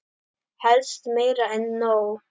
Helst meira en nóg.